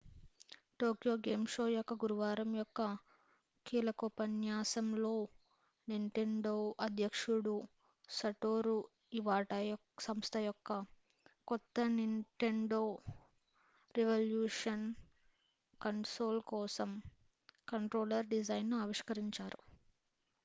Tokyo game show యొక్క గురువారం యొక్క కీలకోపన్యాసం లో నింటెండో అధ్యక్షుడు సటోరూ ఇవాటా సంస్థ యొక్క కొత్త నింటెండో రివల్యూషన్ కన్సోల్ కోసం కంట్రోలర్ డిజైన్ ను ఆవిష్కరించారు